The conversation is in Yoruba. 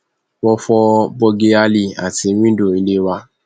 wọn fọ bọgíálí àti wíńdò ilé wa